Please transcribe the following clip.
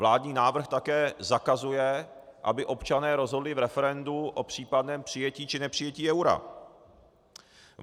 Vládní návrh také zakazuje, aby občané rozhodli v referendu o případném přijetí či nepřijetí eura.